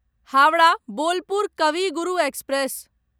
Howrah Bolpur Kavi Guru express